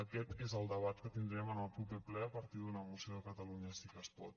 aquest és el debat que tindrem en el proper ple a partir d’una moció de catalunya sí que es pot